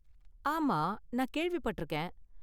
ஆமா, நான் கேள்விப்பட்டிருக்கேன்